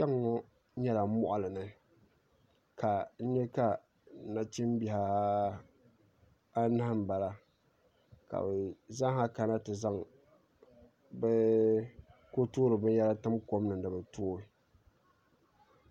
Kpɛŋŋo nyɛla moɣali ni ka n nyɛ ka nachimbihi anahi n bala ka bi zaa ha kana ti zaŋ binyɛra tim kom ni ni bi tooi